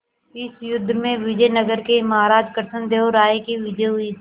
इस युद्ध में विजय नगर के महाराज कृष्णदेव राय की विजय हुई